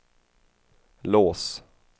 lås